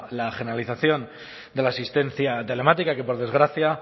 la generalización de la asistencia telemática que por desgracia